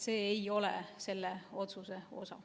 See ei ole selle otsuse osa.